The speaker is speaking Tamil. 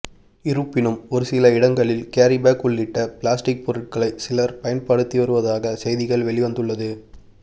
இருப்பினும் ஒருசில இடங்களில் கேரிபேக் உள்ளிட்ட பிளாஸ்டிக் பொருட்களை சிலர் பயன்படுத்தி வருவதாக செய்திகள் வெளிவந்துள்ளது